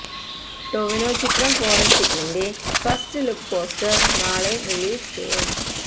ടൊവിനോ ചിത്രം ഫോറൻസിക്കിൻറെ first look poster നാളെ റിലീസ് ചെയ്യും